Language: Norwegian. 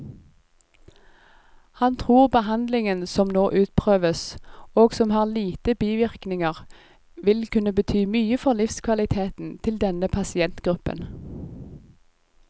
Han tror behandlingen som nå utprøves, og som har lite bivirkninger, vil kunne bety mye for livskvaliteten til denne pasientgruppen.